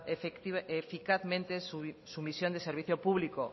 eficazmente su misión de servicio público